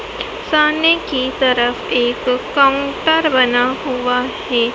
सामने की तरफ एक काउंटर बना हुआ है।